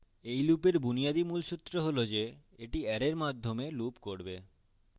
এই লুপের বুনিয়াদী মুলসুত্র হল the the অ্যারের মানের মাধ্যমে loop করবে